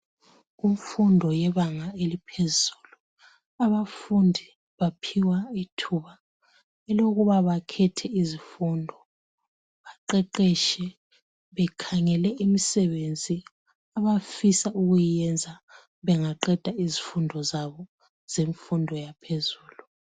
Kumfundo yebanga eliphezulu abafundi baphiwa ithuba lokuba bakhethe izifundo. Baqeqetshe bekhangele imisebenzi abafisa ukuyenza bengaqeda izifundo zabo zemfundo yaphezulu.